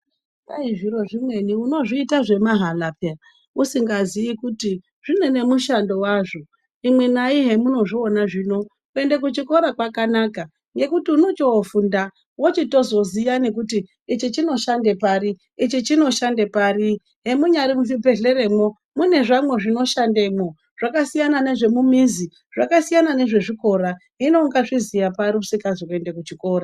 Kwai zviro zvimweni unozviita zvemahala peya usingazii kuti zvine nemushando wazvo imwenai hemunozviona zvino kuende kuchikora kwakanaka nekuti unochiofunda wochitozoziya kuti ichi chinoshande pari ichi chinoshande pari hemunyari muzvibhedhleramwo mune zvamwo zvinoshandemwo zvakasiyana nezvemumizi zvakasiyana nezvezvikora, hino ungazviziya pari isingazi kuende kuchikora.